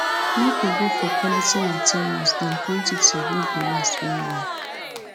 make we go for quality materials than quantity wey go last well well